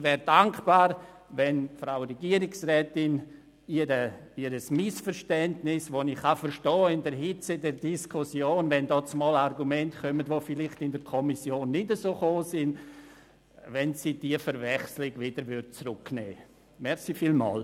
Ich wäre dankbar, wenn die Frau Regierungsrätin ihr Missverständnis, das ich in der Hitze der Diskussion verstehen kann, korrigieren und die Verwechslung von Argumenten, die in der Kommission vielleicht nicht so sehr zur Sprache gekommen sind, zurücknehmen könnte.